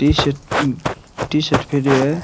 T-shirt अ T-shirt पहरो है।